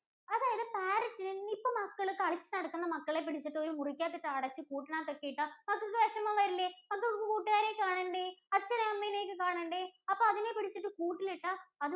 അതായത് Parrot ഇന് ഇപ്പോ മക്കള് കളിച്ച് നടക്കുന്ന മക്കളെ പിടിച്ച് ഒരു മുറിക്കകത്ത് ഇട്ട് അടച്ച് പുട്ടിനകത്ത് ഒക്കെ ഇട്ടാൽ മക്കൾക്ക് വിഷമം വരില്ലേ. മക്കക്ക് കൂട്ടുകാരെ കാണണ്ടേ അച്ഛനെയും അമ്മേനെയും ഒക്കെ കാണണ്ടേ അപ്പൊ അതിനെ പിടിച്ചിട്ട് കൂട്ടിൽ ഇട്ടാൽ